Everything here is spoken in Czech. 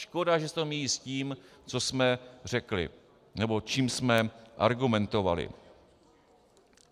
Škoda, že se to míjí s tím, co jsme řekli nebo čím jsme argumentovali.